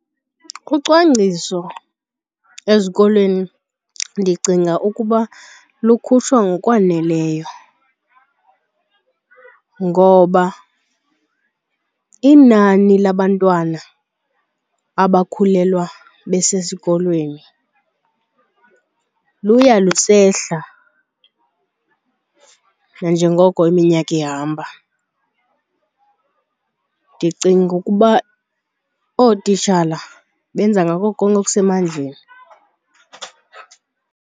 Ucwangciso ezikolweni ndicinga ukuba lukhutshwa ngokwaneleyo ngoba inani labantwana abakhulelwa besesikolweni luya lusehla nanjengoko iminyaka ihamba. Ndicinga ukuba ootitshala benza ngako konke okusemandleni.